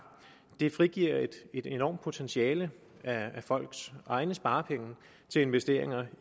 frigiver et enormt potentiale af folks egne sparepenge til investeringer